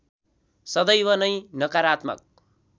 सदैव नै नकारात्मक